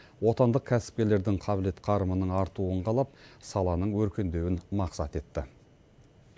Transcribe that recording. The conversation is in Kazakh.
отандық кәсіпкерлердің қабілет қарымының артуын қалап саланың өркендеуін мақсат етті